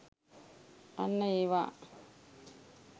අන්න ඒවා!